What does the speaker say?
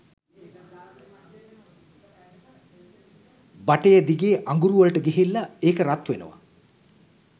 බටය දිගේ අඟුරු වලට ගිහිල්ල ඒක රත් වෙනව